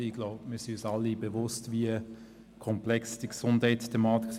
Ich glaube, wir sind uns alle bewusst, wie komplex der Gesundheitsmarkt ist.